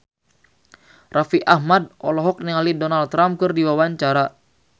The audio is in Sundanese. Raffi Ahmad olohok ningali Donald Trump keur diwawancara